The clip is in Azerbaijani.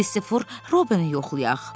Kristofor Robini yoxlayaq.